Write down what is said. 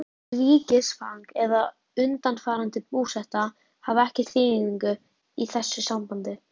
Ríkisfang eða undanfarandi búseta hafa ekki þýðingu í þessu sambandi.